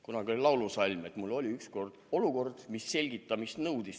Kunagi oli laulusalm: "Mul oli ükskord olukord, mis selgitamist nõudis.